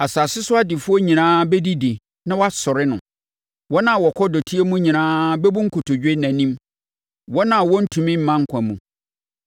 Asase so adefoɔ nyinaa bɛdidi na wɔasɔre no; wɔn a wɔkɔ dɔteɛ mu nyinaa bɛbu nkotodwe nʼanim, wɔn a wɔrentumi mma nkwa mu.